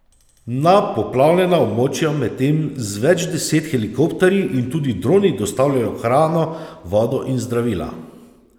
Na poplavljena območja medtem z več deset helikopterji in tudi droni dostavljajo hrano, vodo in zdravila.